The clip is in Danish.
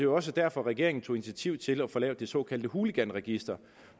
også derfor at regeringen tog initiativ til at få lavet det såkaldte hooliganregister